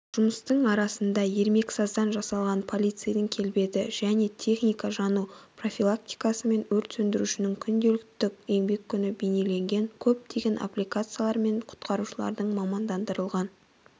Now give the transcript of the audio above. жұмыстың арасында ермексаздан жасалған полицейдің келбеті және техника жану профилактикасы мен өрт сөндірушінің күнделікті еңбек күні бейнеленген көптеген аппликацияларымен құтқарушылардың мамандандырылған